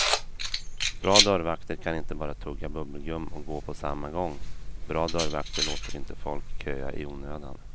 Bra dörrvakter kan inte bara tugga bubbelgum och gå på samma gång, bra dörrvakter låter inte folk köa i onödan.